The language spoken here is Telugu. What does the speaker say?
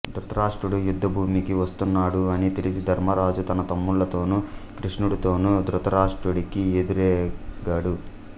ధృతరాష్ట్రుడు యుద్ధభూమికి వస్తున్నాడు అని తెలిసి ధర్మరాజు తన తమ్ములతోనూ కృష్ణుడితోనూ ధృతరాష్ట్రుడికి ఎదురేగాడు